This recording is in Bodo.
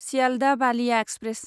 सियालदह बालिया एक्सप्रेस